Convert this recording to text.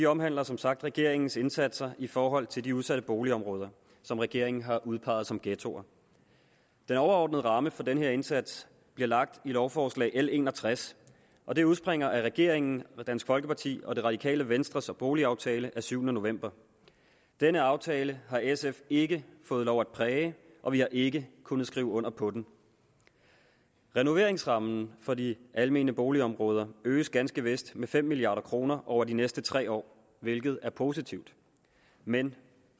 omhandler som sagt regeringens indsatser i forhold til de udsatte boligområder som regeringen har udpeget som ghettoer den overordnede ramme for den her indsats bliver lagt i lovforslag nummer l en og tres og det udspringer af regeringen dansk folkeparti og det radikale venstres boligaftale af syvende november denne aftale har sf ikke fået lov at præge og vi har ikke kunnet skrive under på den renoveringsrammen for de almene boligområder øges ganske vist med fem milliard kroner over de næste tre år hvilket er positivt men